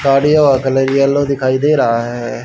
साड़ीयों का colour yellow दिखाई दे रहा है।